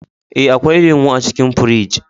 Eh, akwai lemu a cikin firij